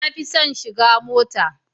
Na fi son shiga mota.